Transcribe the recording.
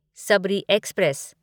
Shabari express